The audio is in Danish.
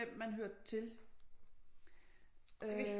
Hvem man hørte til øh